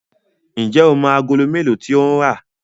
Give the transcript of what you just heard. njé o mọ Àgòló melo tí o ń rá?